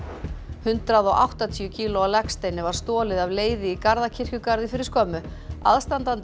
hundrað og áttatíu kílóa legsteini var stolið af leiði í Garðakirkjugarði fyrir skömmu aðstandandi